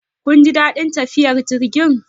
Kun ji daɗin tafiyar jirgin?